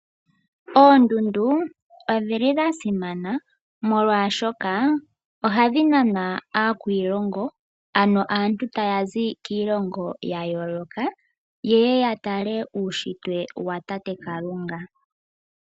Oondundu odhili dha simana molwaashoka, ohadhi naana aakwiilongo, ano aantu tayazi kiilongo ya yooloka, yeye yatale uunshitwe watate Kalunga.